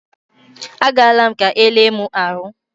A gaala m ka e lee mụ ahụ.